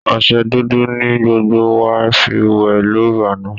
Ọṣẹ dúdú ni gbogbo wá fi wẹ̀ lóru àná